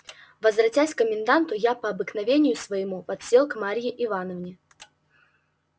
возвратясь к коменданту я по обыкновению своему подсел к марье ивановне